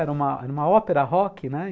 Era uma ópera rock, né?